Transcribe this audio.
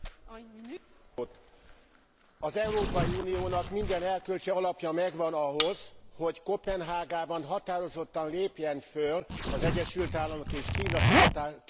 Az Európai Uniónak minden erkölcsi alapja megvan ahhoz, hogy Koppenhágában határozottan lépjen föl az Egyesült Államok és Kína kibocsátáscsökkentése érdekében.